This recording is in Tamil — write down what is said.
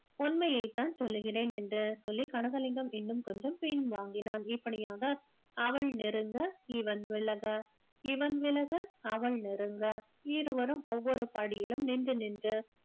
உண்மையைத்தான் சொல்லுகிறேன் என்று சொல்லி கனகலிங்கம் இன்னும் கொஞ்சம் பின் வாங்கினான் இப்படியாக அவள் நெருங்க இவன் விலக இவன் விலக அவள் நெருங்க இருவரும் ஒவ்வொரு படியிலும் நின்று நின்று